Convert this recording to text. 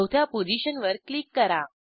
चौथ्या पोझिशनवर क्लिक करा